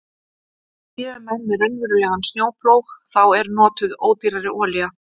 En séu menn með raunverulegan snjóplóg þá er notuð ódýrari olía.